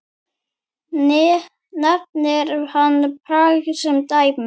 Nefnir hann Prag sem dæmi.